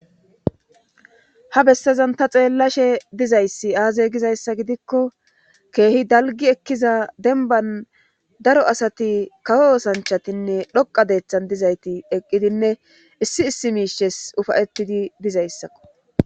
ha bessezan ta xeellashe dizayssi aaze gizayssa gidikko keehi dalgi ekkiza denban daro asati kawo sanchatinne dhoqa deeththan dizayti eqqidinne issi issi miishes ufayettidi dizayssakko